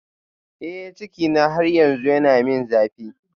Eh cikina har yanzu yana min zafi